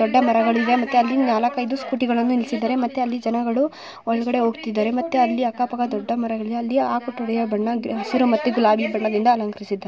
ದೊಡ್ಡ ಮರಗಳಿವೆ ಮತ್ತೆ ಅಲ್ಲಿ ನಾಲ್ಕು ಐದು ಸ್ಕೂಟಿಗಳನ್ನು ನಿಲ್ಲಿಸಿದ್ದಾರೆ ಮತ್ತೆ ಅಲ್ಲಿ ಜನಗಳು ಒಳಗಡೆ ಹೋಗುತ್ತಾ ಇದ್ದಾರೆ ಮತ್ತೆ ಅಲ್ಲಿ ಅಕ್ಕಪಕ್ಕ ದೊಡ್ಡ ಮರಗಳಿವೆ ಅಲ್ಲಿ ಆ ಕಟ್ಟಡದ ಬಣ್ಣ ಹಸಿರು ಮತ್ತು ಗುಲಾಬಿ ಬಣ್ಣದಿಂದ ಅಲಂಕರಿಸಿದೆ.